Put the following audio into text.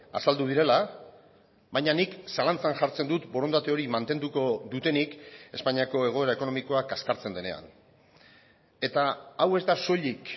azaldu direla baina nik zalantzan jartzen dut borondate hori mantenduko dutenik espainiako egoera ekonomikoa kaskartzen denean eta hau ez da soilik